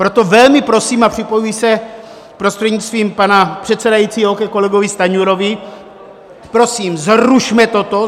Proto velmi prosím a připojuji se prostřednictvím pana předsedajícího ke kolegovi Stanjurovi: Prosím, zrušme toto!